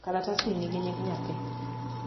kalatasni nigi nying nyathi